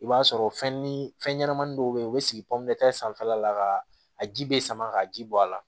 I b'a sɔrɔ fɛn ni fɛn ɲɛnamanin dɔw bɛ ye u bɛ sigi sanfɛla la ka a ji bɛ sama ka ji bɔ a la